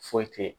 Foyi te ye